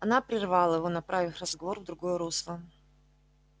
она прервала его направив разговор в другое русло